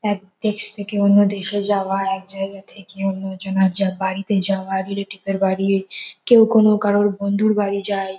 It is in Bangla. এক দেশ থেকে অন্য দেশে যাওয়া এক জায়গা থেকে অন্য জনার যা বাড়িতে যাওয়া রিলেটিভ -এর বাড়ি কেউ কোন কারোর বন্ধুর বাড়ি যায়।